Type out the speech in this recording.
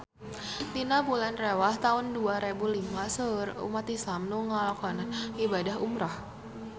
Dina bulan Rewah taun dua rebu lima seueur umat islam nu ngalakonan ibadah umrah